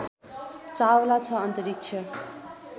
चावला छ अन्तरिक्ष